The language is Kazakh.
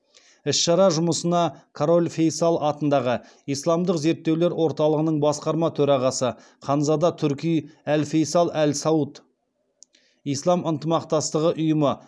іс шара жұмысына король фейсал атындағы исламдық зерттеулер орталығының басқарма төрағасы ханзада турки әл фейсал әл сауд ислам ынтымақтастығы ұйымы